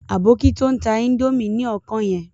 Aboki to ń ta índòmí ni ọkàn yẹn.